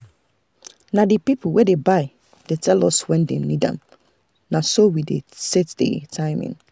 na the people wey dey buy tell us when dem need am na so we dey set the timing.